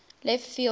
left field wall